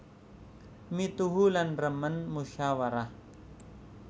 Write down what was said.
Mituhu lan remen musyawarah